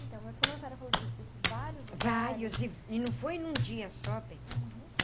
Então, mas como a senhora falou de desses vários... Vários, e e não foi num dia só, bem. Uhum.